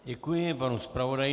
Děkuji panu zpravodaji.